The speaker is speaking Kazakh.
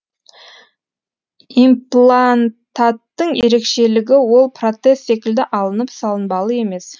имплантаттың ерекешелігі ол протез секілді алынып салынбалы емес